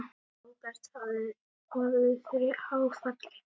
Róbert hafði orðið fyrir áfalli.